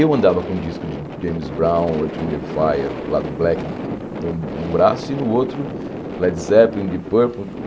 Eu andava com o disco de James Brown, Orchard in the Fire, lá do Black, num braço, e no outro Led Zeppelin, Deep Purple.